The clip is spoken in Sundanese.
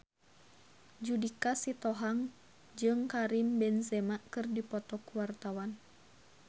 Judika Sitohang jeung Karim Benzema keur dipoto ku wartawan